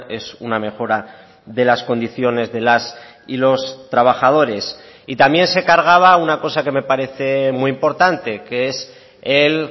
es una mejora de las condiciones de las y los trabajadores y también se cargaba una cosa que me parece muy importante que es el